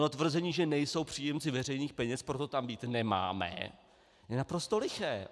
Tvrzení, že nejsou příjemci veřejných peněz, proto tam být nemáme, je naprosto liché.